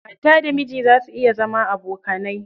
Mata da miji za su iya zama abokanai.